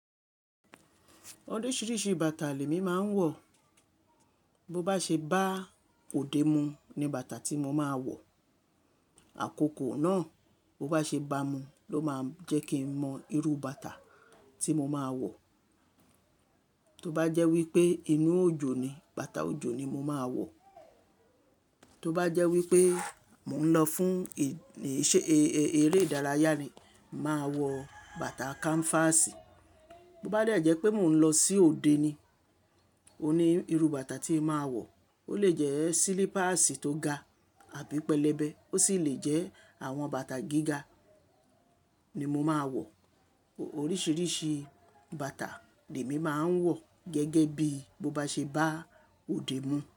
Oríṣiríṣi bàtà l'èmi máa ń wọ̀. Bo bá ṣe bá òde mu ni bàtà tí mo máa wọ̀. Àkókò náà, bo bá ṣe bá mu ló máa jẹ́ kí n mọ irú bàtà tí mo máa wọ̀. Tó bá jẹ́ wípé inú òjò ni, bàtà òjò ni mo máa wọ̀. Tó bá jẹ́ wípé mò ń lọ fún eré ìdárayá ni, màá wọ bàtà kanfasì. Bo bá jẹ́ wípé mò ń lọ sí òde ni, o ní irú bàtà tí n màá wọ̀. Ó lè jẹ́ sílípàsì tó ga àbí pẹlẹbẹ, ó sì lè jẹ́ àwọn bàtà gíga ni mo máa wọ̀. Oríṣiríṣi bàtà l'èmi máa ń wọ̀ gẹ́gẹ́ bí mo bá ṣe bá òde mu.